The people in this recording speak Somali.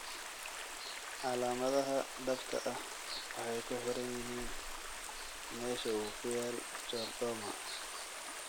Calaamadaha dhabta ah waxay ku xiran yihiin meesha uu ku yaal chordoma.